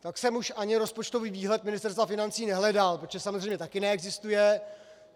Tak jsem už ani rozpočtový výhled Ministerstva financí nehledal, protože samozřejmě taky neexistuje.